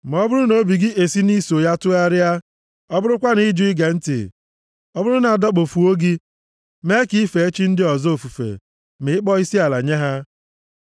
Ma ọ bụrụ na obi gị e si nʼiso ya tụgharịa, ọ bụrụkwa na ị jụ ige ntị, ọ bụrụ na a dọkpụfuo gị mee ka i fee chi ndị ọzọ ofufe ma ịkpọ isiala nye ha,